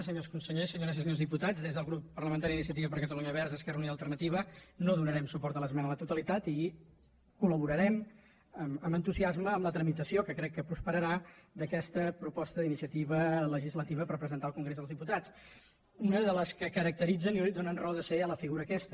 senyors consellers senyores i senyors diputats des del grup parlamentari d’iniciativa per catalunya verds esquerra unida i alternativa no donarem suport a l’esmena a la totalitat i col·laborarem amb entusiasme en la trami tació que crec que prosperarà d’aquesta proposta d’iniciativa legislativa per presentar al congrés dels diputats una de les que caracteritzen i donen raó de ser a la figura aquesta